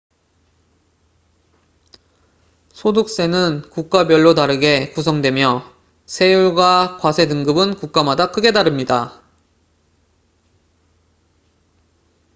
소득세는 국가별로 다르게 구성되며 세율과 과세 등급은 국가마다 크게 다릅니다